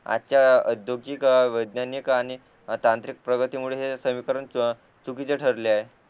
आजच्या औद्योगिक वैज्ञानिक आणि तांत्रिक प्रगती मुळे हे समीकरण चुकीचे ठरले आहे